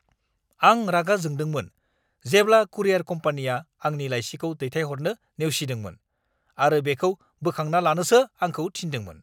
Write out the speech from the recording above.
आं रागा जोंदोंमोन जेब्ला कुरियार कम्पानिया आंनि लाइसिखौ दैथायहरनो नेवसिदोंमोन आरो बेखौ बोखांना लानोसो आंखौ थिन्दोंमोन!